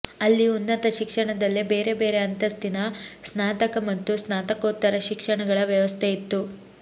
ಅಲ್ಲಿ ಉನ್ನತ ಶಿಕ್ಷಣದಲ್ಲೆ ಬೇರೆ ಬೇರೆ ಅಂತಸ್ತಿನ ಸ್ನಾತಕ ಮತ್ತು ಸ್ನಾತಕೋತ್ತರ ಶಿಕ್ಷಣಗಳ ವ್ಯವಸ್ಥೆಯಿತ್ತು